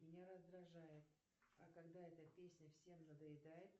меня раздражает а когда эта песня всем надоедает